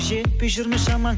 жетпей жүр ме шамаң